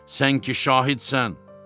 Sən ki şahidsən.